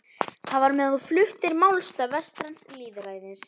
Það var meðan þú fluttir málstað vestræns lýðræðis.